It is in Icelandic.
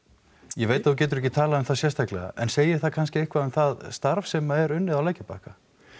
ég veit að þú getur ekki talað um það sérstaklega en segir það kannski eitthvað um það starf sem er unnið á lækjarbakka